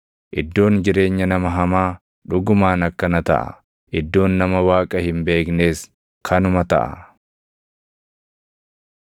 Iddoon jireenya nama hamaa, dhugumaan akkana taʼa; iddoon nama Waaqa hin beeknees kanuma taʼa.”